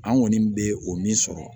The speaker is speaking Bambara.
An kɔni bɛ o min sɔrɔ